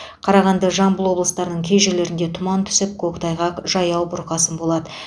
қарағанды жамбыл облыстарының кей жерлерінде тұман түсіп көктайғақ жаяу бұрқасын болады